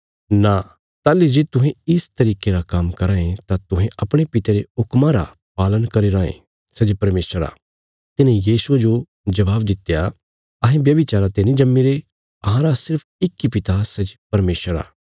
नां ताहली जे तुहें इस तरिके रा काम्म कराँ ये तां तुहें अपणे पिता रे हुक्मा रा पालन करी रांये सै जे परमेशर आ तिन्हे यीशुये जो जबाब दित्या अहें व्यभिचारा ते नीं जम्मीरे अहांरा सिर्फ इक इ पिता सै जे परमेशर आ